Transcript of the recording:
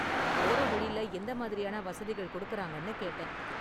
போற வழில எந்த மாதிரியான வசதிகள் கொடுக்கறாங்கன்னு கேட்டேன்.